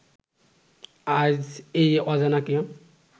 আজ এই অজানাকে